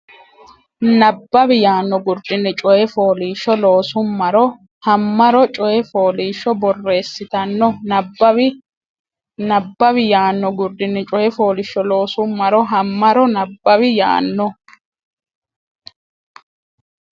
Nabbawi yaano gurdinni coy fooliishsho loosummaro Hammaro coy fooliishsho borreessitanno nabbawi Nabbawi yaano gurdinni coy fooliishsho loosummaro Hammaro Nabbawi yaano.